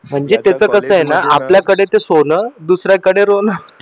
म्हणजे ते तर कस आहे ना आपल्याकडे ते सोन आणि दुसऱ्याकडे रोन